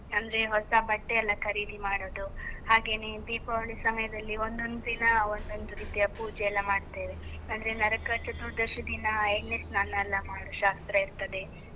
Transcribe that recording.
ಅಂದ್ರೆ ಹೊಸ ಬಟ್ಟೆ ಎಲ್ಲ ಖರೀದಿ ಮಾಡುದು, ಹಾಗೇನೇ ದೀಪಾವಳಿ ಸಮಯದಲ್ಲಿ ಒಂದೊಂದು ದಿನ ಒಂದೊಂದು ರೀತಿಯ ಪೂಜೆ ಎಲ್ಲ ಮಾಡ್ತೇವೆ, ಅಂದ್ರೆ ನರಕ ಚತುರ್ದಶಿ ದಿನ ಎಣ್ಣೆ ಸ್ನಾನ ಎಲ್ಲ ಮಾಡೋ ಶಾಸ್ತ್ರ ಇರ್ತದೆ.